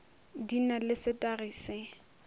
di na le setagi se